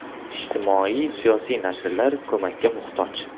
Ijtimoiy-siyosiy nashrlar ko‘makka muhtoj.